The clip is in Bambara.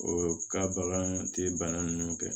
O ka bagan te bana nunnu kɛ